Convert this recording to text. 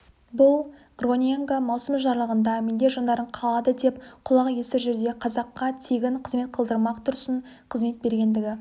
бұл гроненго маусым жарлығында менде жандарың қалады деп құлақ естір жердегі қазаққа тегін қызмет қылдырмақ тұрсын қызмет бергендігі